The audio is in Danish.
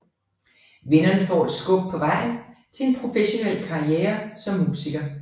Vinderne får et skub på vejen til en professionel karriere som musiker